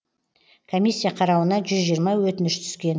комиссия қарауына жүз жиырма өтініш түскен